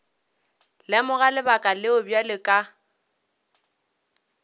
lemoga lebaka leo bjale ka